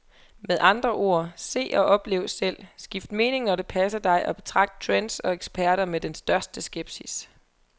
Med andre ord, se og oplev selv, skift mening når det passer dig og betragt trends og eksperter med den største skepsis.